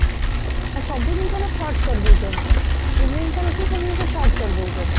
ସବୁ ଜିନିଷର short କରିଦଉଛନ୍ତି କି ସବୁ ଜିନିଷ short କରିଦଉଛନ୍ତି